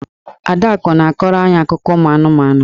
Adaku na-akọrọ any akụkọ ụmụ anụmanụ.